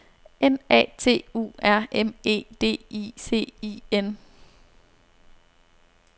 N A T U R M E D I C I N